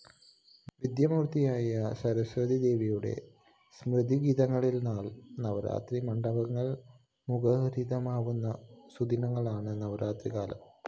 വിദ്യാമൂര്‍ത്തിയായ സരസ്വതീദേവിയുടെ സ്തുതിഗീതങ്ങളാല്‍ നവരാത്രി മണ്ഡപങ്ങള്‍ മുഖരിതമാവുന്ന സുദിനങ്ങളാണ് നവരാത്രികാലം